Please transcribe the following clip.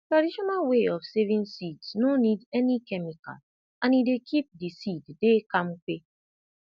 traditional way of saving seeds no need any chemical and e dey keep the seed dy campa